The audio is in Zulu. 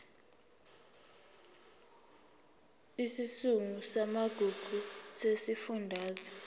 isigungu samagugu sesifundazwe